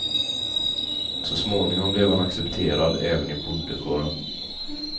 Så småningom blev han accepterad även i bondekåren.